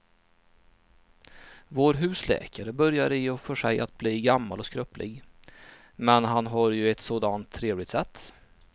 Vår husläkare börjar i och för sig bli gammal och skröplig, men han har ju ett sådant trevligt sätt!